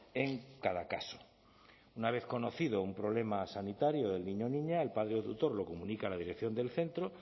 en cada caso una vez conocido un problema sanitario del niño o niña el padre o tutor lo comunica a la dirección del centro